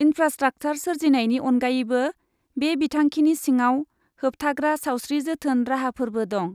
Infrastructure सोरजिनायनि अनगायैबो, बे बिथांखिनि सिङाव होबथाग्रा सावस्रि जोथोन राहाफोरबो दं।